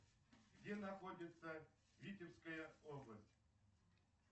где находится витебская область